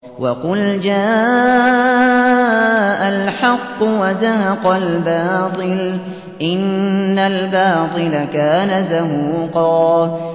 وَقُلْ جَاءَ الْحَقُّ وَزَهَقَ الْبَاطِلُ ۚ إِنَّ الْبَاطِلَ كَانَ زَهُوقًا